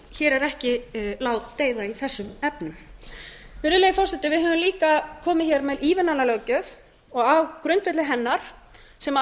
hér er ekki ládeyða í þessum efnum virðulegi forseti við höfum líka komið hér með ívilnanalöggjöf og á grundvelli hennar sem